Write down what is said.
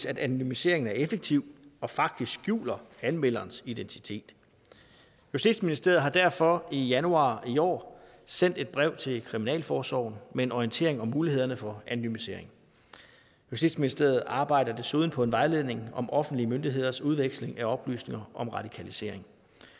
at anonymiseringen er effektiv og faktisk skjuler anmelderens identitet justitsministeriet har derfor i januar i år sendt et brev til kriminalforsorgen med en orientering om mulighederne for anonymisering justitsministeriet arbejder desuden på en vejledning om offentlige myndigheders udveksling af oplysninger om radikalisering